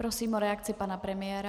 Prosím o reakci pana premiéra.